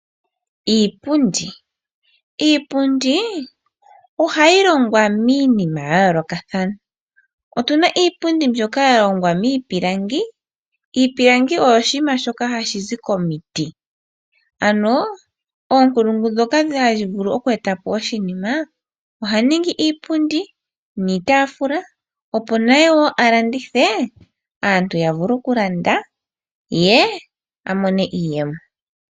Iipundi, iipundi ohayi longwa miinima ya yoolokathana, otuna iipundi mbyoka yahongwa miipilangi, iipilangi oyo oshiima shoka hashi zi komiti, ano oonkulungu dhoka hadhi vulu oku etapo oshinima ohadhi ningi iipundi niitaafula, opo naye woo alandithe aantu yavule okulanda ye amone iiyemo.